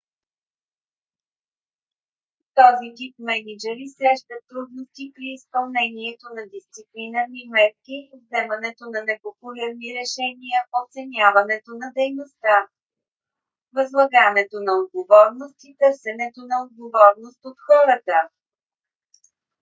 този тип мениджъри срещат трудности при изпълнението на дисциплинарни мерки вземането на непопулярни решения оценяването на дейността възлагането на отговорност и търсенето на отговорност от хората